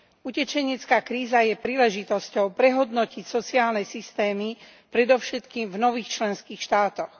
Utečenecká kríza je príležitosťou prehodnotiť sociálne systémy, predovšetkým v nových členských štátoch.